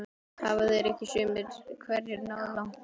Hafa þeir ekki sumir hverjir náð langt?